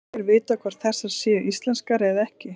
Ekki er vitað hvort þessar séu íslenskar eða ekki.